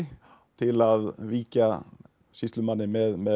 til að víkja sýslumanni með